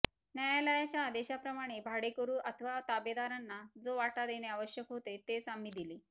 न्यायालयाच्या आदेशाप्रमाणे भाडेकरू अथवा ताबेदारांना जो वाटा देणे आवश्यक होते तेच आम्ही दिले